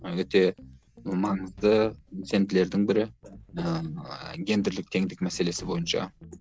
өте маңызды бірі ыыы гендірлік теңдік мәселесі бойынша